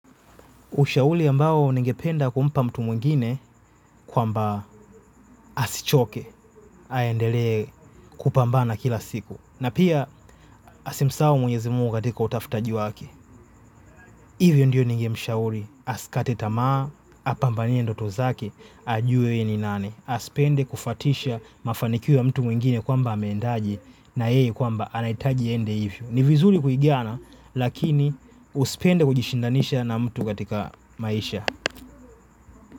Ushauri ambao ningependa kumpa mtu mwingine kwamba asichoke aendelee kupambana kila siku. Na pia asimusahau mwenyezi Munga katika utafutaji wake. Hivyo ndiyo ningemshauri asikate tamaa, apambanie ndoto zake, ajue yeye ni nani. Asipende kufatisha mafanikio ya mtu mwingine kwamba ameendaji na yeye kwamba anaitaji iyende hivyo. Ni vizuri kuigana lakini usipende kujishindanisha na mtu katika maisha.